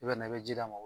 I bɛ na i bɛ ji d'a ma